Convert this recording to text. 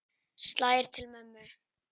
Slær til mömmu.